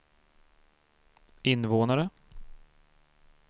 invånare